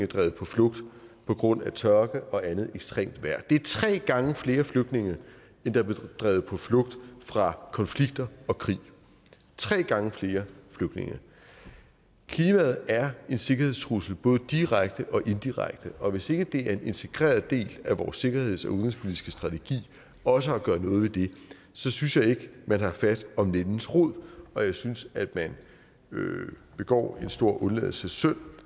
drevet på flugt på grund af tørke og andet ekstremt vejr det er tre gange flere flygtninge end der blev drevet på flugt fra konflikter og krig tre gange flere flygtninge klimaet er en sikkerhedstrussel både direkte og indirekte og hvis ikke det er en integreret del af vores sikkerheds og udenrigspolitiske strategi også at gøre noget ved det så synes jeg ikke man har fat om nældens rod og jeg synes at man begår en stor undladelsessynd